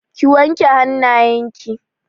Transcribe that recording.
Ki wanke hannayen ki!